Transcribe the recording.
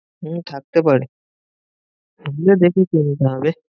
হম থাকতে পারে, ঘুরে দেখে কিনতে হবে।